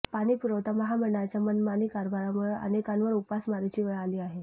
पाणीपुरवठा महामंडळाच्या मनमानी कारभारामुळे अनेकांवर उपासमारीची वेळ आली आहे